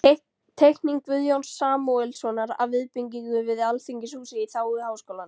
Teikning Guðjóns Samúelssonar af viðbyggingu við Alþingishúsið í þágu Háskólans.